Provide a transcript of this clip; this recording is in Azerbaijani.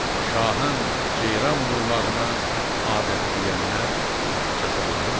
Şahın ceyran vurmağına adət deyənlər cəzalanırlar.